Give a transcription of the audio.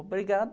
Obrigada.